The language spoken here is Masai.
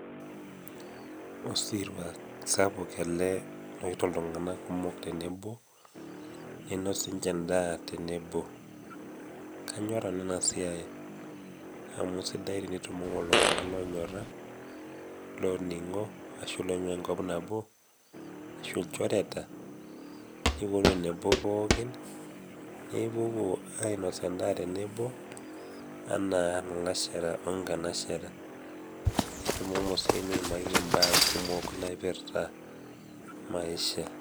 Osirua sapuk ele oetuo iltung'ana kumok tenebo neinos sininche endaa tenebo. Kaanyor nanu ena siai tenetumo iltung'ana loonyora, looning'o ashu oing'ua enkop nabo, ashu ilchoreta nepuonu tenebo pookin, nipuopuo ainos endaa pooki anaa ilalashera o inkanashera, nitumomo sii niimakiki imbaa naipirita maisha.